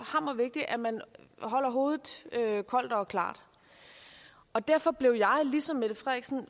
hammervigtigt at man holder hovedet koldt og klart og derfor blev jeg ligesom